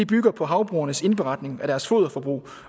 bygger på havbrugenes indberetning af deres foderforbrug